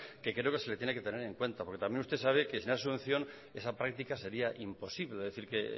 que creo que se le tiene que tener en cuenta porque también usted sabe que si no hay subvención esa práctica sería imposible es decir que